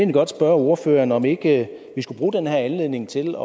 godt spørge ordføreren om ikke vi skulle bruge den her anledning til